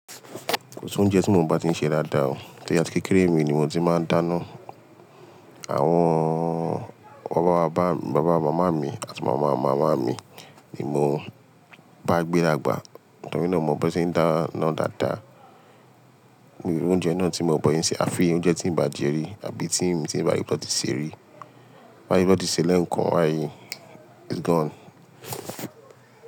Kò sí oúnjẹ tí mo bá ti ń ṣe dáadáa o. Ti atí kékeré mi ni mo ti máa ń dáná. Àwọn bàbá bàbá mi, baba mama mi àti màmá màmá mi ni mo bá gbé dàgbà. Nitọ́ri náà mọ̀ mo bí won se n dáná dáadáa. Mii ri oúnjẹ náà tí n mo bọ́ se n ṣe, afi oúnjẹ tí ń bà jẹ́ rí àbí tí n bá rí ibi ti won see rí. Ti n bá rí tan ti ṣee lẹ́ẹ̀kan bayii it's gone.